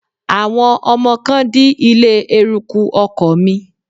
Àwọn ọmọ kan dí ilé-eruku ọkọ̀ mi